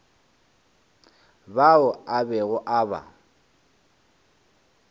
bao a bego a ba